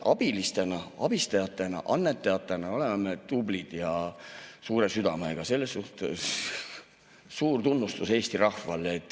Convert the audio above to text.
Abilistena, abistajatena, annetajatena oleme me tublid ja suure südamega, selle eest suur tunnustus Eesti rahvale.